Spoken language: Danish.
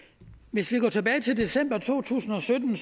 hvis vi går tilbage til december to tusind og sytten